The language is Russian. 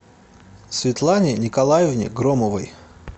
светлане николаевне громовой